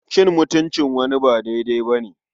Cin mutuncin wani ba daidai ba ne.